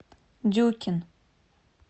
дюкин